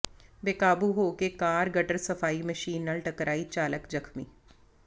ਬੇਕਾਬੂ ਹੋ ਕੇ car gutter ਸਫ਼ਾਈ ਮਸ਼ੀਨ ਨਾਲ ਟਕਰਾਈ ਚਾਲਕ ਜ਼ਖ਼ਮੀ